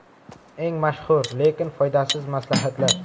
Eng mashhur, lekin foydasiz maslahatlar.